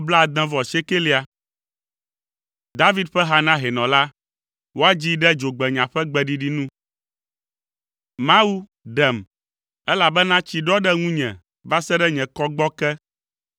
David ƒe ha na hɛnɔ la. Woadzii ɖe “Dzogbenya” ƒe gbeɖiɖi nu. Mawu, ɖem, elabena tsi ɖɔ ɖe ŋunye va se ɖe nye kɔgbɔ ke.